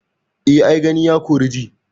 Eh ai Gani, ya kori ji.